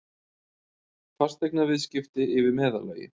Fasteignaviðskipti yfir meðallagi